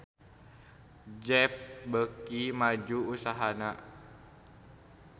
Jeep beuki maju usahana